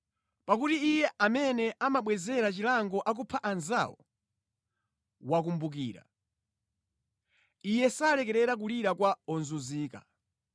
Pakuti Iye amene amabwezera chilango akupha anzawo wakumbukira; Iye salekerera kulira kwa ozunzika.